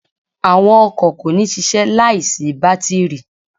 Àwọn ọkọ̀ kò ní ṣiṣẹ́ láì sí bátírì.